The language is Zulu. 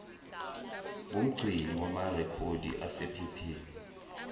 ngumgcini wamarekhodi asephepheni